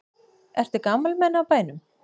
Eru gamalmenni á bænum?